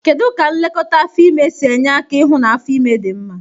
Kedu ka nlekọta afọ ime si enye aka ihụ na afo ime dị mma?